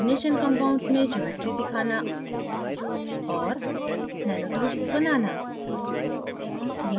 coordination समन्वय compounds में geometries दिखाना और nanotubes बनाना